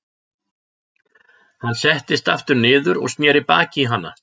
Hann settist aftur niður og sneri baki í hana.